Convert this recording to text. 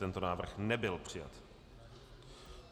Tento návrh nebyl přijat.